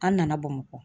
An nana bamakɔ